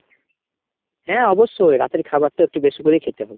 হ্যাঁ অবশ্যই। রাতের খাবার তো একটু বেশি করেই খেতে হবে।